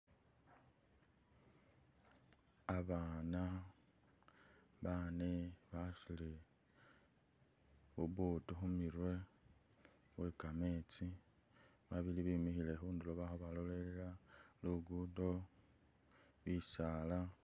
Abana bane basutile bu buutu khumirwe bwe kametsi babili bemikhile khundulo bali khubalolelela, ligudo, bisaala